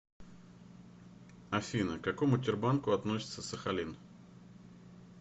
афина к какому тербанку относится сахалин